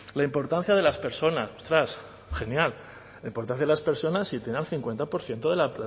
la importancia de las personas ostras genial la importancia de las personas y tiene al cincuenta por ciento de las